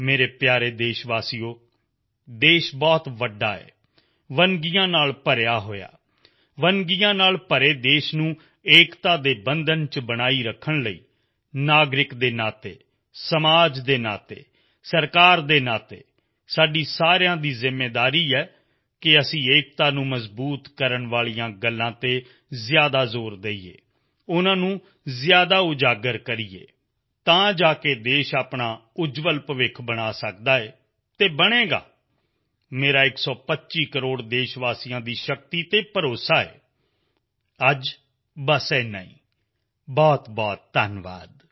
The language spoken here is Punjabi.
ਮੇਰੇ ਪਿਆਰੇ ਦੇਸ਼ਵਾਸੀਓ ਦੇਸ਼ ਬਹੁਤ ਵੱਡਾ ਹੈ ਵਿਭਿੰਨਤਾਵਾਂ ਨਾਲ ਭਰਿਆ ਹੋਇਆ ਹੈ ਵਿਭਿੰਨਤਾਵਾਂ ਨਾਲ ਭਰੇ ਹੋਏ ਦੇਸ਼ ਨੂੰ ਏਕਤਾ ਦੇ ਬੰਧਨ ਵਿੱਚ ਬਣਾਈ ਰੱਖਣ ਲਈ ਨਾਗਰਿਕ ਦੇ ਨਾਤੇ ਸਮਾਜ ਦੇ ਨਾਤੇ ਸਰਕਾਰ ਦੇ ਨਾਤੇ ਸਾਡੀ ਸਾਰਿਆਂ ਦੀ ਜ਼ਿੰਮੇਵਾਰੀ ਹੈ ਕਿ ਅਸੀਂ ਏਕਤਾ ਨੂੰ ਬਲ ਦੇਣ ਵਾਲੀਆਂ ਗੱਲਾਂ ਤੇ ਜ਼ਿਆਦਾ ਤਾਕਤ ਦੇਈਏ ਜ਼ਿਆਦਾ ਉਜਾਗਰ ਕਰੀਏ ਅਤੇ ਤਾਂ ਜਾ ਕੇ ਦੇਸ਼ ਆਪਣਾ ਉੱਜਵਲ ਭਵਿੱਖ ਬਣਾ ਸਕਦਾ ਹੈ ਅਤੇ ਬਣੇਗਾ ਮੇਰਾ ਸੇਵਾ ਸੌ ਕਰੋੜ ਦੇਸ਼ਵਾਸੀਆਂ ਦੀ ਸ਼ਕਤੀ ਤੇ ਭਰੋਸਾ ਹੈ ਅੱਜ ਬਸ ਇੰਨਾ ਹੀ ਬਹੁਤਬਹੁਤ ਧੰਨਵਾਦ